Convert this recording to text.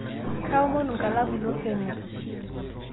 Kaamonu nkalamu ino peneu